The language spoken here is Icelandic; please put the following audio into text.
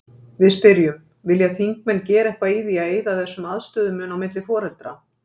Við spyrjum: Vilja þingmenn gera eitthvað í því að eyða þessum aðstöðumun á milli foreldra?